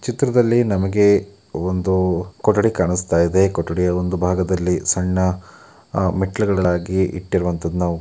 ಚಿತ್ರದಲ್ಲಿ ನಮಗೆ ಒಂದು ಕೊಠಡಿ ಕಾಣಸ್ತಾಯಿದೆ ಕೊಠಡಿಯ ಒಂದು ಭಾಗದಲ್ಲಿ ಸಣ್ಣ ಆ ಮೆಟ್ಟಿಲುಗಳಾಗಿ ಇಟ್ಟಿರುವಂತಹದ್ದನ್ನ ನಾವು --